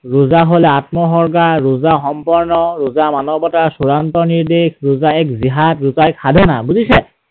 ৰোজা হৈছে আত্মউৎসৰ্গা, ৰোজা সম্পৰ্ণ, ৰোজা মানৱতা, চূড়ান্ত নিৰ্দেশ, ৰোজা এক জিহাদ, ৰোজা এক সাধনা, বুজিছে?